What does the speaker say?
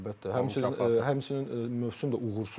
Əlbəttə, həmçinin mövsüm də uğursuz oldu.